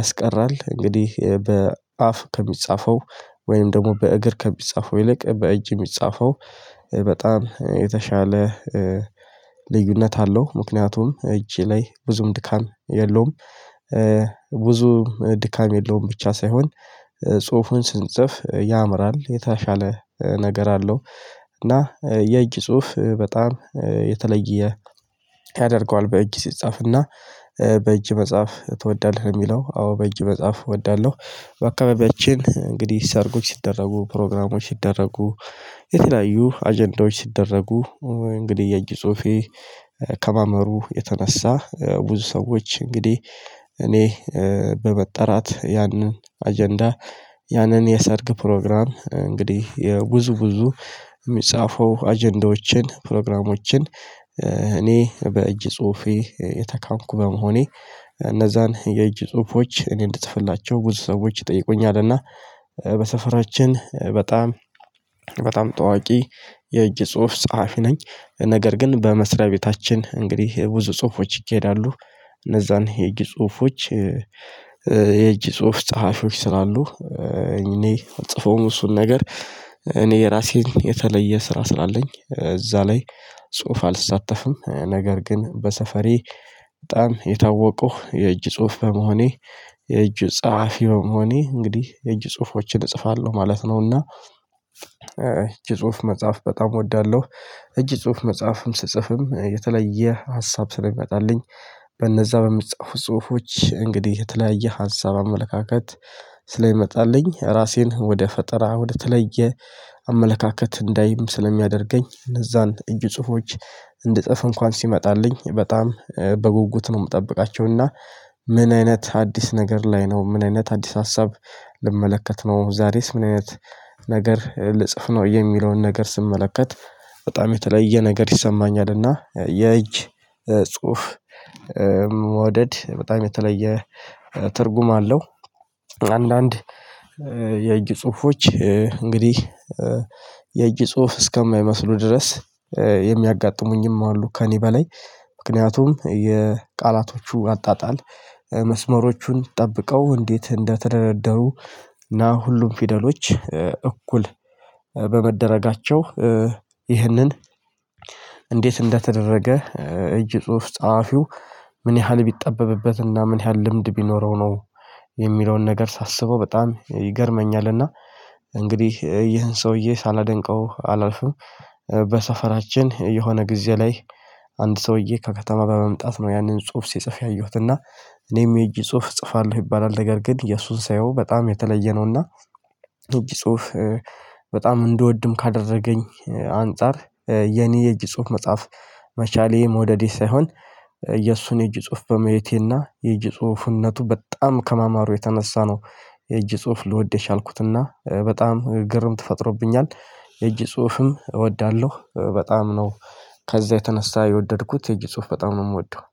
ያስቀራል። እንግዲህ በአፍ ከሚጻፈው ወይም ደግሞ በእግር ከሚጻፈው ይልቅ በእጅ የሚጻፈው በጣም የተሻለ ልዩነት አለው። ምክንያቱም እጀ ላይ ብዙም ድካም የለውም። ብዙም ድካም የለውም ብቻ ሳይሆን ጽሁፉን ስንጽፍ ያምራል የተሻለ ነገር አለው። እና የእጅ ጽሁፍ በጣም የተለየ ያደርገዋል። በእጅ ሲጻፍና በእጅ መጽሐፍ ትወዳለህ? የሚለው አዎ በእጅ መጽሐፍ እወዳለሁ። በአካባቢያችን እንግዲህ ሰርጎች ሲደረጉ ፕሮግራሞች ሲደረጉ የተለያዩ አጀንዳዎች ሲደረጉ እንግዲህ የጅ ጽሁፌ ከማማሩ የተነሳ ብዙ ሰዎች እንግዲህ እኔ በመጠራት ያንን አጀንዳ ያንን የሰርግ ፕሮግራም እንግዲህ የብዙ ብዙ የሚጻፈው አጀንዳዎችን ፕሮግራሞችን እኔ በእጅ ጽሁፌ የተካንኩ በመሆኔ እነዛን የእጅ ጽሁፎች እኔ እንድጽፍላቸው ብዙ ሰዎች ይጠይቁኛል። እና በሰፈራችን በጣም በጣም ታዋቂ የእጅ ጽሁፍ ጸሐፊ ነኝ። ነገር ግን በመስሪያ ቤታችን እንግዲህ ብዙ ጽሁፎች ይካሄዳሉ። እነዛን የእጅ ጽሁፎች የእጅ ጽሁፍ ጸሀፊዎች ስላሉ እኔ አልጽፈውም። እሱን ነገር እኔ የራሴን የተለየ ስራ ስላለኝ እዛ ላይ ጽሁፍ አልሳተፍም። ነገር ግን በሰፈሬ በጣም የታወቁህ የእጅ ጽሁፍ በመሆኔ የእጅ ጸሀፊውም በመሆኔ እንግዲህ የእጅ ጽሁፎችን እጽፋለሁ ማለት ነው። እና እጅ ጽሁፍ መጽሐፍ በጣም እወዳለሁ። እጅ ጽሁፍ መጽሐፍም ስጽፍም የተለየ ሀሳብ ስለሚመጣልኝ በነዛ በሚጻፉት ጽሁፎች እንግዲህ የተለያየ ሀሳብ አመለካከት ስለሚመጣልኝ ራሴን ወደ ፈጠራ ወደ ተለየ አመለካከት እንዳይም ስለሚያደርገኝ እነዛን እጅ ጽሁፎች እንድጽፍ እንኳን ሲመጣልኝ በጣም በጉጉት ነው የምጠብቃቸው። እና ምን አይነት አዲስ ነገር ላይ ነው ምን አይነት አዲስ ሀሳብ ልመለከት ነው? ዛሬስ ምን አይነት ነገር ልጽፍ ነው? የሚለውን ነገር ስመለከት በጣም የተለየ ነገር ይሰማኛል። እና የእጅ ጽሁፍ መውደድ በጣም የተለየ ትርጉም አለው። አንዳንድ የእጅ ጽሁፎች እንግዲህ የእጅ ጽሁፍ እስከማይመስሉ ድረስ የሚያጋጥሙኝም አሉ። ከእኔ በላይ ምክንያቱም የቃላቶቹ አጣጣል መስመሮቹን ጠብቀው እንዴት እንደተደረደሩ እና ሁሉም ፊደሎች እኩል በመደረጋቸው ይህንን እንዴት እንደተደረገ? እጅ ጽሁፍ ጸሀፊው ምን ያህል ቢጠበብበት እና ምን ያህል ልምድ ቢኖረው ነው? የሚለውን ነገር ሳስበው በጣም ይገርመኛል። እንግዲህ ይህን ሰውዬ ሳላደንቀው አላልፍም። በሰፈራችን የሆነ ጊዜ ላይ አንድ ሰውዬ ከከተማ በመምጣት ነው ያንን ጽሁፍ ሲጽፍ ያየሁት እና። እኔም የጅ ጹሁፍ እጽፋለሁ ይባላል ነገር ግን የእሱን ሳየው በጣም የተለየ ነውና። ጽሁፍ በጣም እንድወድም ካደረገኝ አንፃር የኔ የእጅ ጽሁፍ መጽሐፍ መቻሌ መውደዴ ሳይሆን የእሱን የእጅ ጽሁፍ በማየቴና የእጅ ጽሁፍነቱ በጣም ከማማሩ የተነሳ ነው። የእጅ ጽሁፍ ልወድ የቻልኩትና በጣም ግርምት ፈጥሮብኛል። የእጅ ጽሁፍም እወዳለሁ በጣም ነው። ከዛ የተነሳ የወደድኩት የጅ ጽሁፍ በጣም ነው የምወደው።